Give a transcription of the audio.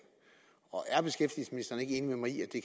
og